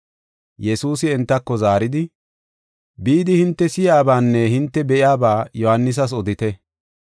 Yesuusi entako zaaridi, “Bidi hinte si7iyabaanne hinte be7iyaba Yohaanisas odite.